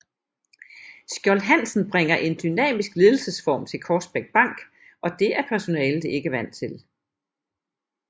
Skjold Hansen bringer en dynamisk ledelsesform til Korsbæk Bank og det er personalet ikke er vant til